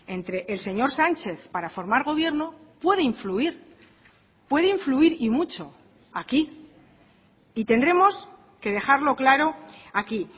entre el señor sánchez para formar gobierno puede influir puede influir y mucho aquí y tendremos que dejarlo claro aquí